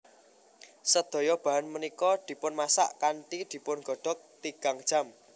Sedaya bahan punika dipunmasak kanthi dipungodhog tigang jam